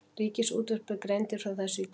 Ríkisútvarpið greindi frá þessu í dag